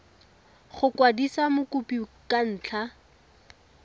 go kwadisa mokopi ka ntlha